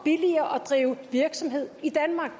og billigere at drive virksomhed i danmark